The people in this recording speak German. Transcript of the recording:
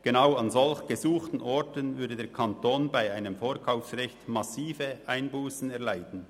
Genau an solch gesuchten Orten würde der Kanton bei einem Vorkaufsrecht massive Einbussen erleiden.